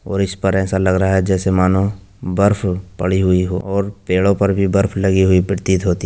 और इस पर एसा लग रहा है जैसे मानो बर्फ पड़ी हुवी हो ओर पेड़ों पर भी बर्फ लगी हुवी पिरतीत होती --